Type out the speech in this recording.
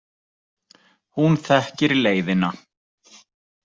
Hún þekkir leiðina.